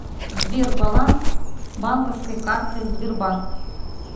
сбер баланс банковской карты сбербанк